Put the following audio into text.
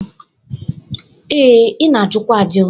Ee, ị na-ajụkwa ajụ.